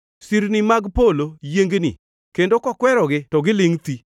Sirni mag polo yiengni kendo kokwerogi to gilingʼ thi.